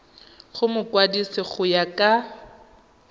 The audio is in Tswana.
go mokwadise go ya ka